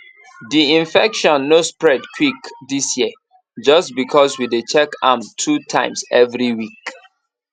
di infection no spread quick dis year just because we dey check am two times every week